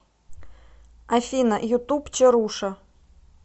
афина ютуб чаруша